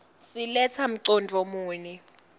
siletsa mcondvo muni